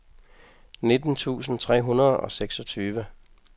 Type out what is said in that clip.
nitten tusind tre hundrede og seksogtyve